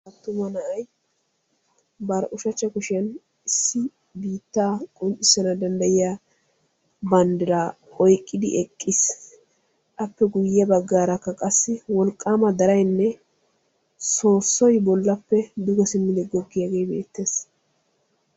attuma na'ay bari ushachcha kushiyaan issi biitta qonccissana danddayiya banddira bari kushiyaan oyqqidi eqqiis; appe guyye baggarakka qassi wolqqama daraynne soossoy bollappe duge simmidi goggiyaage beettees.